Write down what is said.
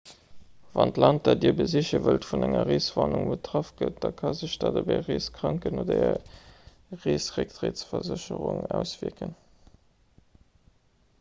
wann d'land dat dir besiche wëllt vun enger reeswarnung betraff gëtt da ka sech dat op är reeskranken oder är reesrécktrëttsversécherung auswierken